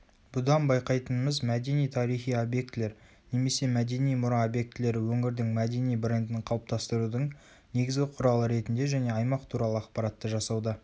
бұдан байқайтынымыз мәдени-тарихи объектілер немесе мәдени мұра объектілері өңірдің мәдени брендін қалыптастырудың негізгі құралы ретінде және аймақ туралы ақпаратты жасауда